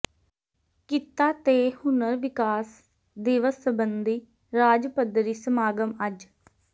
ਕਿੱਤਾ ਤੇ ਹੁਨਰ ਵਿਕਾਸ ਦਿਵਸ ਸਬੰਧੀ ਰਾਜ ਪੱਧਰੀ ਸਮਾਗਮ ਅੱਜ